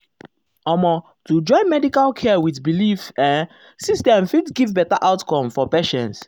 omo to join medical care with belief ehm system fit give better outcome for patients.